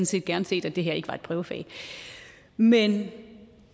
set gerne set at det her ikke var et prøvefag men